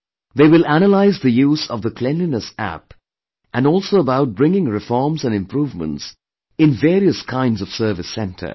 They will analyse the use of the Cleanliness App and also about bringing reforms and improvements in various kinds of service centres